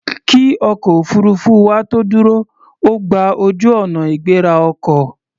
Kí ọkọ̀ òfuurufú wa tó dúró, ó gba ojú-ọ̀nà ìgbéra ọkọ̀.